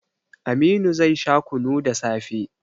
Aminu zai sha kunu da safe